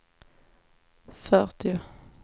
fyrtio